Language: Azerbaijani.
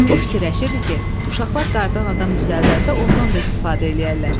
O fikirləşirdi ki, uşaqlar qardan adam düzəldəndə ondan da istifadə eləyərlər.